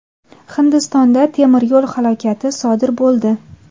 Hindistonda temir yo‘l halokati sodir bo‘ldi.